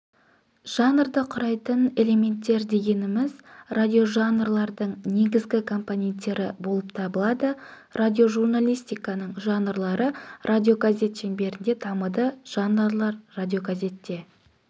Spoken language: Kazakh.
жанрды құрайтын элементтер дегеніміз радиожанрлардың негізгі компоненттері болып табылады радиожурналистиканың жанрлары радиогазет шеңберінде дамыды жанрлар радиогазетте